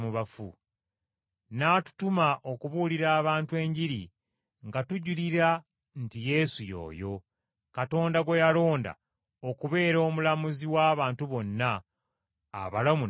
N’atutuma okubuulira abantu Enjiri nga tujulira nti Yesu y’oyo, Katonda gwe yalonda okubeera omulamuzi w’abantu bonna, abalamu n’abafu.